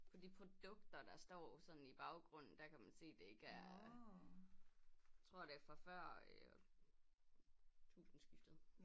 På de produkter der står sådan i baggrunden der kan man se det ikke er tror det er fra før øh tusinde skiftet